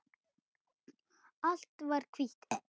Allt var hvítt.